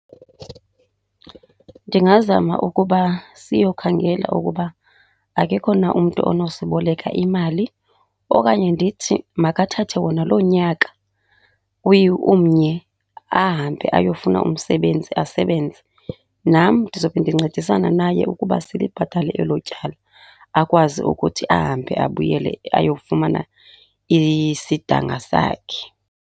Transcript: Ndingazama ukuba siyokhangela ukuba akekho na umntu onosiboleka imali. Okanye ndithi makathathe wona loo nyaka umnye ahambe ayofuna umsebenzi asebenze, nam ndizobe ndincedisana naye ukuba silibhatale elo tyala akwazi ukuthi ahambe abuyele ayofumana isidanga sakhe.